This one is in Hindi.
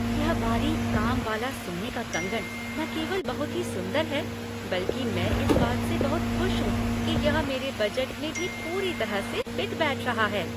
यह बारीक काम वाला सोने का कंगन न केवल बहुत ही सुंदर है, बल्कि मैं इस बात से बहुत खुश हूँ कि यह मेरे बजट में भी पूरी तरह से फिट बैठ रहा है।